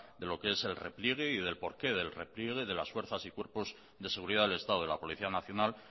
de lo que es el repliegue del porqué del repliegue de las fuerzas y cuerpos de seguridad del estado de la policía nacional